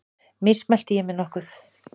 Mismælti ég mig nokkuð?